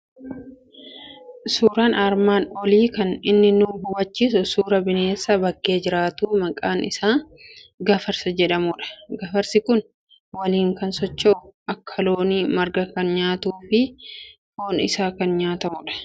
Suuraan armaan olii kan inni nu hubachiisu suuraa bineensa bakkee jiraatu maqaan isaa gafarsa jedhamuudha. Gafarsi kun waliin kan socho'u , akka loonii marga kan nyaatu, foon isaa kan nyaatamu dha.